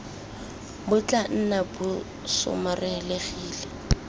bo tla nna bo somarelegile